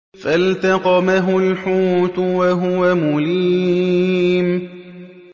فَالْتَقَمَهُ الْحُوتُ وَهُوَ مُلِيمٌ